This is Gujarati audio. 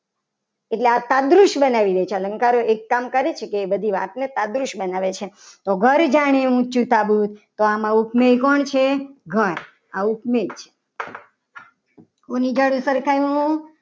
એટલે આ તાદરૂસ બનાવી છે. અલંકારો એક કામ કરે છે. કે એ બધી આપણને તાદરુશ બનાવે છે. તો ઘર ધાણી ઊંચું સાબુદ તો આમાં ઉપનિ કોણ છે. ઘર આ ઉપમેય છે. કોની સાથે સરખાવ્યું